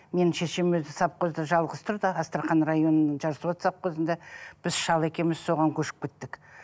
менің шешем өзі савхозда жалғыз тұрды астрахань районының жасот савхозында біз шал екеуіміз соған көшіп кеттік